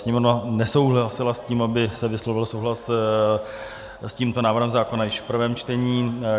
Sněmovna nesouhlasila s tím, aby se vyslovil souhlas s tímto návrhem zákona již v prvém čtení.